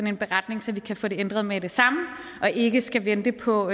en beretning så vi kan få det ændret med det samme og ikke skal vente på